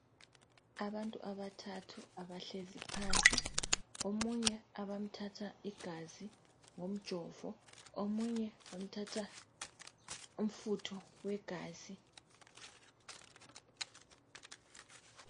Abantu abathathu abahleziphansi, omunye abamthatha igazi ngomjovo, omunye bamthatha umfutho wegazi.